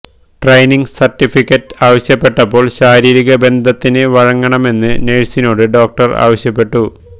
training certificate ആവശ്യപ്പെട്ടപ്പോൾ ശാരീരിക ബന്ധത്തിന് വഴങ്ങണമെന്ന് നഴ്സിനോട് ഡോക്ടർ ആവശ്യപ്പെട്ടു